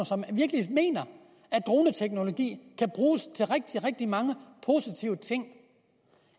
som virkelig mener at droneteknologi kan bruges til rigtig rigtig mange positive ting